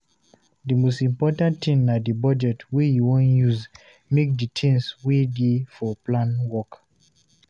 Di most important thing na di budget wey you wan use make di things wey dey for plan work